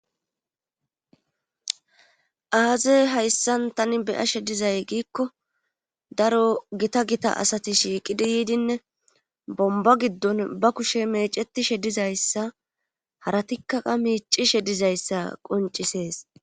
aazey hayssan tani beyashe dizay giikko daro gita gita asati shiiqidi yiidinne bomba giddon ba kushe meecetishe dizayssa haratikka qa miicishe dizayssa qoncisees